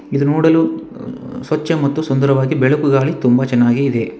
ಇದು ನೋಡಲು ಸ್ವಚ್ಚ ಮತ್ತು ಸುಂದರವಾಗಿ ಬೆಳಕು ಗಾಳಿ ತುಂಬಾ ಚೆನ್ನಾಗಿ ಇದೆ.